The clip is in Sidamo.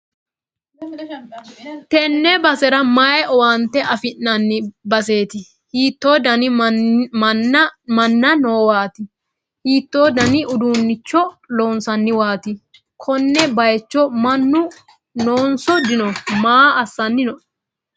tenne basera may owaante afi'nanni baseeti? hiitto dani minna noowaati? hiitto dani uduunnicho loonsanniwaati? konne bayicho mannu noonso dino? maa assanni no?